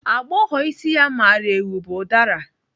Agbọghọ isi ya mara eu bu ụdara.